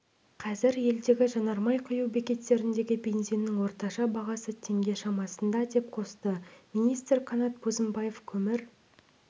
қазір елдегі жанармай құю бекеттеріндегі бензинінің орташа бағасы теңге шамасында деп қосты министр қанат бозымбаев көмір